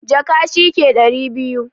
Jaka shi ne ɗari biyu.